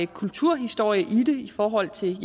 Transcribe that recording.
kulturhistorie i det i forhold til